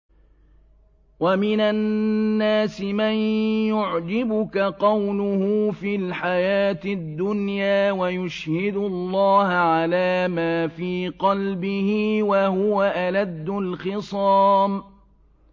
وَمِنَ النَّاسِ مَن يُعْجِبُكَ قَوْلُهُ فِي الْحَيَاةِ الدُّنْيَا وَيُشْهِدُ اللَّهَ عَلَىٰ مَا فِي قَلْبِهِ وَهُوَ أَلَدُّ الْخِصَامِ